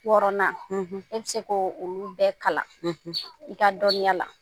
Wɔɔrɔnan e be se koo olu bɛɛ kalan, i ka dɔnniya la.